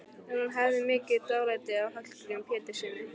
En hún hafði mikið dálæti á Hallgrími Péturssyni.